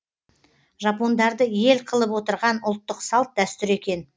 жапондарды ел қылып отырған ұлттық салт дәстүр екен